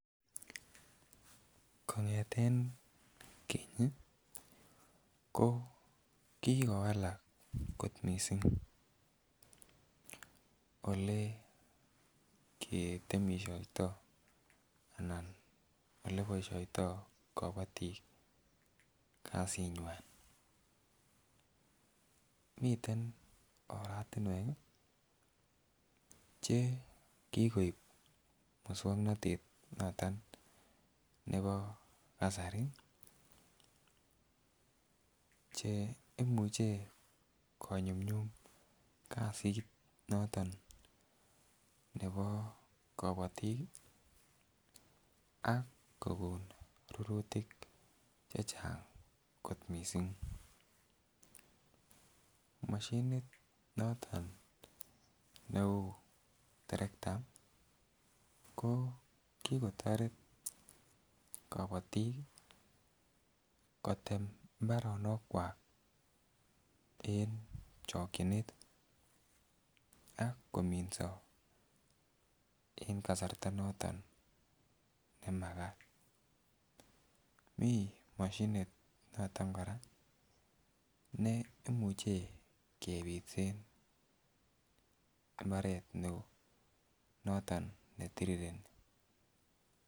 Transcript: Kongeten kenyi ko kikowalak kot missing ole ketemishoito anan oleboishoito kobotik kasinywan. Miten oratumwek chekikoib muswoknotet noton nebo kasari cheimuche konyumyum kasit noto nebo korotik ak kokon rurutik chechang kot missing, moshinit noton neu tarekta ko kokotoret kobotik kotem imbaronik Kwan en chokinet ak kominso en kasarta noton nemakat mii moshinit noton Koraa ne imuche kepitsen imbaret neo noton netirireni.